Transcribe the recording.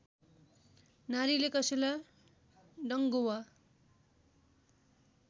नारीले कसैलाई डङ्गुवा